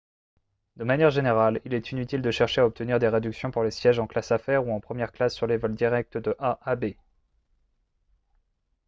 de manière générale il est inutile de chercher à obtenir des réductions pour les sièges en classe affaires ou en première classe sur les vols directs de a à b